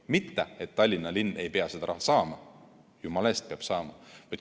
Mitte et Tallinna linn ei pea seda raha saama, jumala eest peab saama.